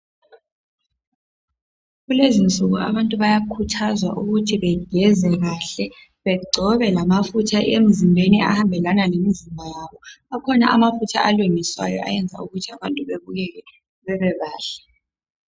Kulezi insuku abantu bayakhuthazwa ukuthi begeze kahle begcobe lamafutha emzimbeni ahambelana lemizimba yabo. Akhona amafutha alungiswayo ayenza ukuthi abantu bebukeke bebebahle.